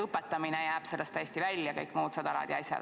Õpetamine jääb siis sellest täiesti välja ja kõik muud sedalaadi asjad.